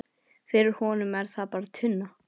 Fyrir honum er það bara tunna.